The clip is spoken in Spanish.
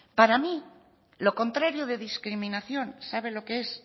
para mí lo contrario de discriminación sabe lo que es